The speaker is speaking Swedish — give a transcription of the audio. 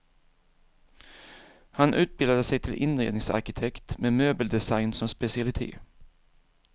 Han utbildade sig till inredningsarkitekt med möbeldesign som specialitet.